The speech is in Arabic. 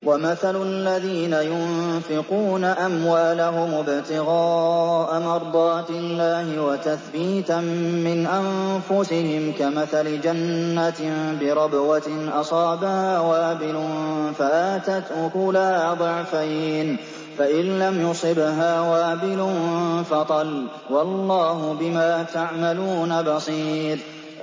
وَمَثَلُ الَّذِينَ يُنفِقُونَ أَمْوَالَهُمُ ابْتِغَاءَ مَرْضَاتِ اللَّهِ وَتَثْبِيتًا مِّنْ أَنفُسِهِمْ كَمَثَلِ جَنَّةٍ بِرَبْوَةٍ أَصَابَهَا وَابِلٌ فَآتَتْ أُكُلَهَا ضِعْفَيْنِ فَإِن لَّمْ يُصِبْهَا وَابِلٌ فَطَلٌّ ۗ وَاللَّهُ بِمَا تَعْمَلُونَ بَصِيرٌ